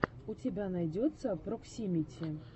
у тебя найдется проксимити